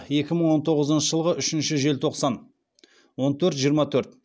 екі мың он тоғызыншы жылғы үшінші желтоқсан он төрт жиырма төрт